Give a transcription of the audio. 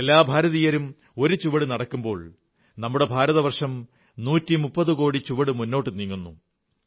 എല്ലാ ഭാരതീയരും ഒരു ചുവട് നടക്കുമ്പോൾ നമ്മുടെ ഭാരതവർഷം 130 കോടി ചുവട് മുന്നോട്ടു നീങ്ങുന്നു